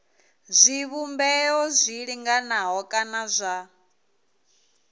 zwivhumbeo zwi linganaho kana zwa